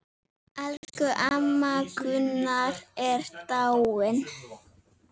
Elsku amma Gunna er dáin.